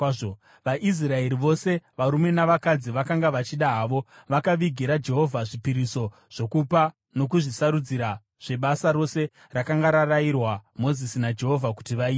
VaIsraeri vose, varume navakadzi vakanga vachida havo, vakavigira Jehovha zvipiriso zvokupa nokuzvisarudzira zvebasa rose rakanga rarayirwa Mozisi naJehovha kuti vaite.